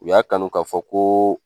U y'a kanu k'a fɔ ko